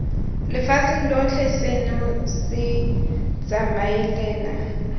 lefatsheng lotlhe seno se tsamaelana